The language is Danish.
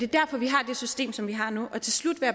derfor vi har det system som vi har nu til slut vil